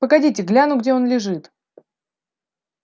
погодите гляну где он лежит